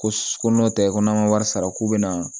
Ko ko n'o tɛ ko n'an ka wari sara k'u bɛna